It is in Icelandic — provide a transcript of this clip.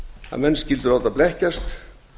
að menn skyldu láta blekkjast